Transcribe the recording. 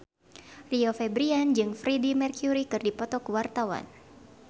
Rio Febrian jeung Freedie Mercury keur dipoto ku wartawan